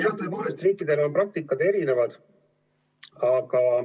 Jah, tõepoolest riikidel on praktikad erinevad.